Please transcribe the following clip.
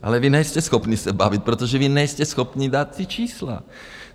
Ale vy nejste schopni se bavit, protože vy nejste schopni dát ta čísla.